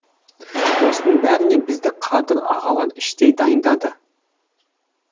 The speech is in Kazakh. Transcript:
осының бәріне бізді қадыр ағалар іштей дайындады